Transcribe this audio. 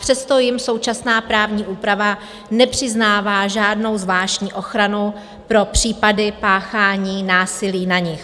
Přesto jim současná právní úprava nepřiznává žádnou zvláštní ochranu pro případy páchání násilí na nich.